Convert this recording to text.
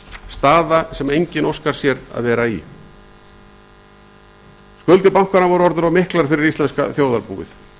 staða sem enginn óskar sér að vera í skuldir bankanna voru orðnar of miklar fyrir íslenska þjóðarbúið